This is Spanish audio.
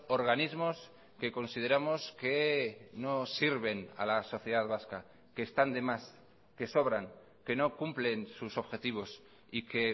organismos que consideramos que no sirven a la sociedad vasca que están de más que sobran que no cumplen sus objetivos y que